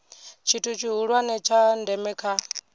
tshithu tshihulwane tsha ndeme kha